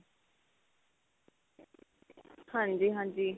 ਹਾਂਜੀ ਹਾਂਜੀ.